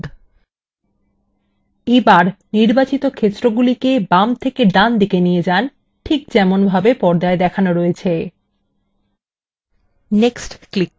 এবার নির্বাচিত ক্ষেত্রগুলিকে বাম থেকে ডানপাশে নিয়ে যান ঠিক যেমনভাবে পর্দায় দেখানো রয়েছে